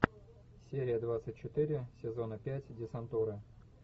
серия двадцать четыре сезона пять десантура